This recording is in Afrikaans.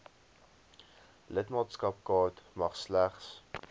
lidmaatskapkaart mag slegs